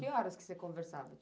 Que horas que você conversava?